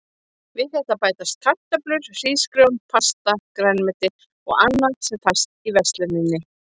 Við þetta bætast kartöflur, hrísgrjón, pasta, grænmeti og annað sem fæst í versluninni.